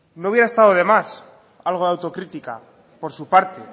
no hubiera estado de más algo de autocrítica por su parte